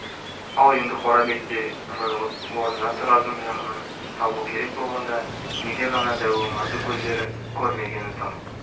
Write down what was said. ал енді қорабек те жойылып орнына тұрардың жақынын табу керек болғанда неге ғана дәу омарды көздері көрмегені тым